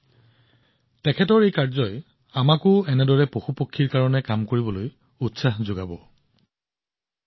এতিয়া যিহেতু গ্ৰীষ্মকাল সমাগত নাৰায়ণনজীৰ এই কামে নিশ্চিতভাৱে আমাৰ সকলোকে অনুপ্ৰাণিত কৰিব আৰু আমি এই গ্ৰীষ্মকালত আমাৰ পশু আৰু চৰাইৰ বাবে পানীৰ ব্যৱস্থা কৰিব পাৰিম